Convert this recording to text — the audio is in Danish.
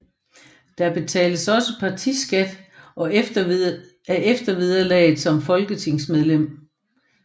Der betales også partiskat af eftervederlaget som folketingsmedlem